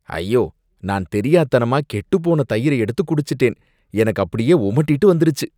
ஐயோ! நான் தெரியாத்தனமா கெட்டுப் போன தயிர எடுத்து குடிச்சுட்டேன், எனக்கு அப்படியே உமட்டிட்டு வந்துருச்சு.